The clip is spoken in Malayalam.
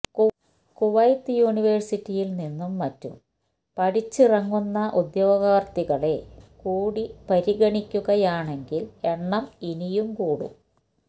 കുവൈത്ത് യൂനിവേഴ്സിറ്റിയിൽ നിന്നും മറ്റും പഠിച്ചിറങ്ങുന്ന ഉദ്യോഗാർഥികളെ കൂടി പരിഗണിക്കുകയാണെങ്കിൽ എണ്ണം ഇനിയും കൂടും